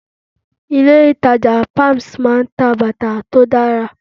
Ilé ìtàjà palms máa ń ta bàtà tó dára.